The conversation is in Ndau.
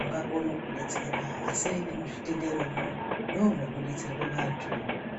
ungakona kukudetsera asi nemuzvitenderomwo ndomotobatsirwa vamweni.